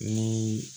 Ni